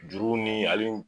Juru ni ale ni